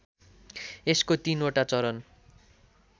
यसको तीनवटा चरण